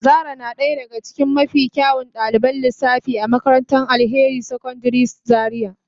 Zara na daya daga cikin mafi kyawun daliban lissafi a makarantar Alheri secondary school Zaria.